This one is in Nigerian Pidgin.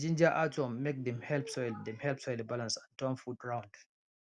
we dey ginger earthworm make dem help soil dem help soil balance and turn food round